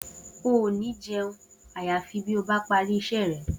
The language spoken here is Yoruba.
O ò ní je̩un àyàfi bí o bá parí is̩é re̩!